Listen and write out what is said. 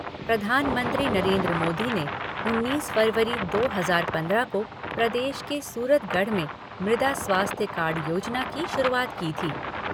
प्रधानमंत्री नरेन्द्र मोदी ने उन्नीस फ़रवरी दो हज़ार पंद्रह को प्रदेश के सूरतगढ़ में मृदा स्वास्थ्य कार्ड योजना की शुरुआत की थी।